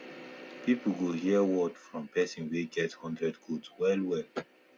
people go hear word from person wey get hundred goat wellwell